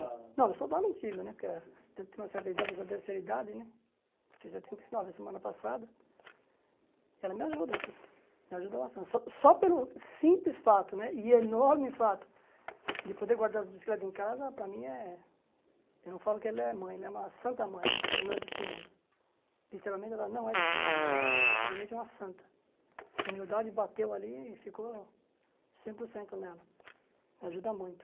Não, soldar não digo né porque ela tem tem uma certa idade, terceira idade né fez setenta e nove a semana passada e ela me ajuda sim, me ajuda bastante só só pelo simples fato né e enorme fato de poder guardar as bicicletas em casa, para mim é eu não falo que ela é mãe ela é uma santa mãe né, ela não é desse mundo literalmente ela não é desse mundo ela é literalmente uma santa humildade bateu ali e ficou cem por cento nela ajuda muito